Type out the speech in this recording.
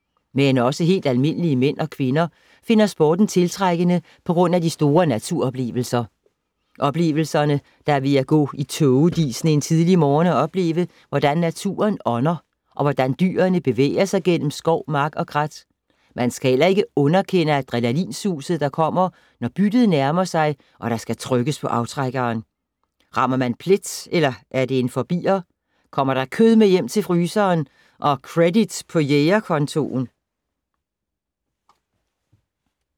Men også helt almindelige mænd og kvinder finder sporten tiltrækkende på grund af de store naturoplevelser. Oplevelserne, der er ved at gå i tågedisen en tidlig morgen og opleve, hvordan naturen ånder og hvordan dyrene bevæger sig gennem skov, mark og krat. Man skal heller ikke underkende adrenalinsuset, der kommer, når byttet nærmer sig og der skal trykkes på aftrækkeren. Rammer man plet eller er det en forbi’er? Kommer der kød med hjem til fryseren og credit på jæger-kontoen?